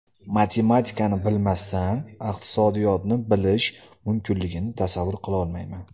Matematikani bilmasdan iqtisodiyotni bilish mumkinligini tasavvur qilolmayman.